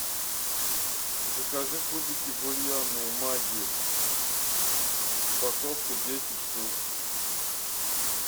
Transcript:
закажи кубики бульонные магги упаковка десять штук